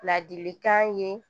Ladilikan ye